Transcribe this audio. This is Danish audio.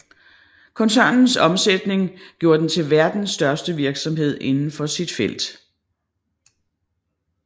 Koncernens omsætning gjorde den til verdens største virksomhed indenfor sit felt